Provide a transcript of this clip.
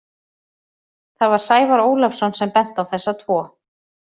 Það var Sævar Ólafsson sem benti á þessa tvo.